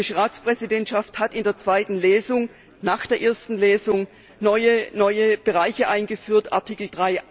Die belgische Ratspräsidentschaft hat in der zweiten Lesung nach der ersten Lesung neue Bereiche eingeführt Artikel